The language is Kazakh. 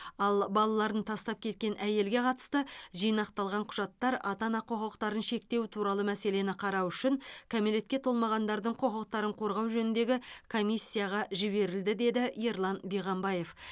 ал балаларын тастап кеткен әйелге қатысты жинақталған құжаттар ата ана құқықтарын шектеу туралы мәселені қарау үшін кәмелетке толмағандардың құқықтарын қорғау жөніндегі комиссияға жіберілді деді ерлан биғамбаев